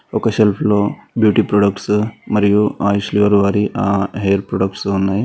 ఒక సెల్ఫ్ లో beauty products మరియు ఆయుష్ గారు వారి హెయిర్ ప్రొడక్ట్స్ ఉన్నాయి.